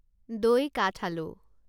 দৈ কাঠআলু